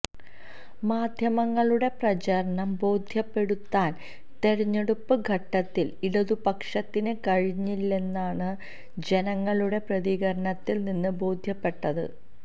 മാധ്യമങ്ങളുടെ പ്രചാരണം ബോധ്യപ്പെടുത്താൻ തിരഞ്ഞെടുപ്പ് ഘട്ടത്തിൽ ഇടതുപക്ഷത്തിന് കഴിഞ്ഞില്ലെന്നതാണ് ജനങ്ങളുടെ പ്രതികരണത്തിൽനിന്ന് ബോധ്യപ്പെട്ടത്